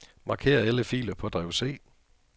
Marker alle filer på drev C.